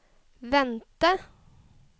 vente